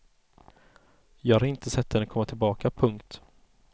Jag har inte sett henne komma tillbaka. punkt